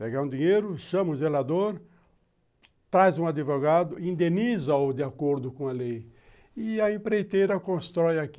Pegar um dinheiro, chama o zelador, traz um advogado, indeniza-o de acordo com a lei e a empreiteira constrói aqui